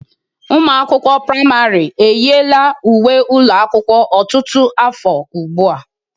Ụmụ akwụkwọ pramarị eyila uwe ụlọ akwụkwọ ọtụtụ afọ ugbu a.